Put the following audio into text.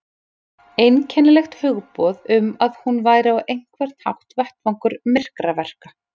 Einkennilegt hugboð um að hún væri á einhvern hátt vettvangur myrkraverka.